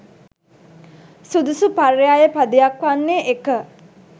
සුදුසු පර්යාය පදයක් වන්නේ, 1.